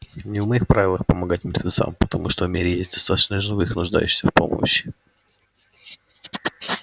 не в моих правилах помогать мертвецам потому что в мире есть достаточно живых нуждающихся в помощи